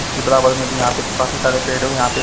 इसकी बराबर में भी यहाँ पर काफी सारे पेड़ हो यहाँ पर--